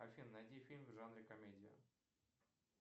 афина найди фильм в жанре комедия